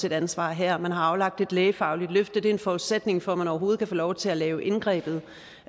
et ansvar her man har aflagt et lægefagligt løfte det er en forudsætning for at man overhovedet kan få lov til at lave indgrebet